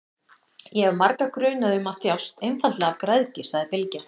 Ég hef marga grunaða um að þjást einfaldlega af græðgi, sagði Bylgja.